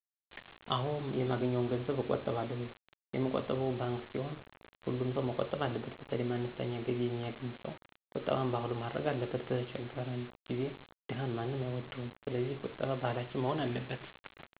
አወ የማገኘዉን ገንዘብ አቆጥባለሁ የምቆጥበዉም ባንከ ሲሆን ሀሉምሰዉ መቆጠብ አለበት በተለይ አነስተኛ ገቢ የሚየገኝ ሰዉ ቁጠባን ባህሉ ማድረግ አለበት በቸገረን ጊዜ ደሀን ማንም አይወደዉም ሰለዚህ ቂጠባ ባህላችን መሆን አለበት።